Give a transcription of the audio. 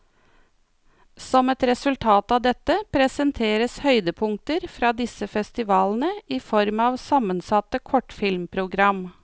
Som et resultat av dette, presenteres høydepunkter fra disse festivalene i form av sammensatte kortfilmprogram.